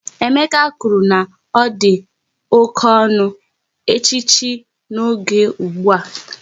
Emeka kwụrụ na ọ dị oké ọnụ, echi echichi n'oge ụgbụa